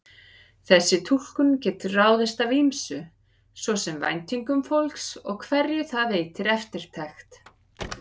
Þessi túlkun getur ráðist af ýmsu, svo sem væntingum fólks og hverju það veitir eftirtekt.